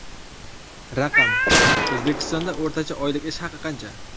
Raqam: O‘zbekistonda o‘rtacha oylik ish haqi qancha?